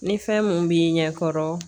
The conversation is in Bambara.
Ni fɛn mun b'i ɲɛ kɔrɔ